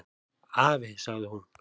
"""Afi, sagði hún."""